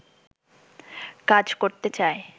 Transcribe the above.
কাজ করতে চায়